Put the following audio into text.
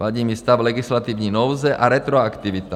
Vadí mi stav legislativní nouze a retroaktivita.